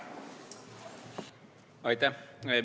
Aitäh!